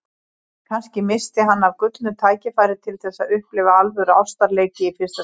Kannski missti hann af gullnu tækifæri til þess að upplifa alvöru ástarleiki í fyrsta skipti.